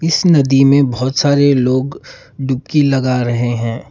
इस नदी में बहोत सारे लोग डुबकी लगा रहे हैं।